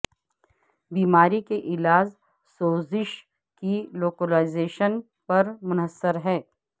بیماری کے علاج سوزش کی لوکلائزیشن پر منحصر ہے